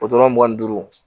mugan ni duuru